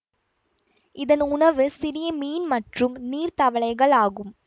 இதன் உணவு சிறிய மீன் மற்றும் நீர் தவளைகள் ஆகும்